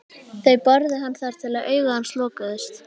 Þeir börðu hann þar til augu hans lokuðust.